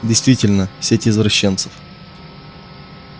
действительно сеть извращенцев